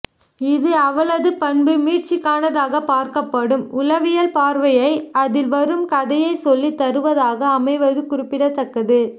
இது அவளது பண்பு மீட்சிக்கானதாகப் பார்க்கப்படும் உளவியல் பார்வையை அதில் வரும் கதைச்சொல்லி தருவதாக அமைவது குறிப்பிடத்தக்கது